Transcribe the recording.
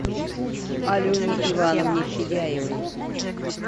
алене ивановне федяевой